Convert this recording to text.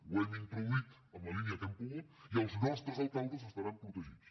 ho hem introduït en la línia que hem pogut i els nostres alcaldes estaran protegits